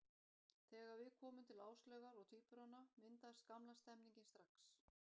Þegar við komum til Áslaugar og tvíburanna, myndaðist gamla stemningin strax.